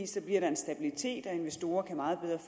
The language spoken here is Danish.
så bliver der en stabilitet og investorer kan meget bedre